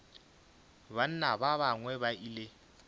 banna ba bangwe ba ile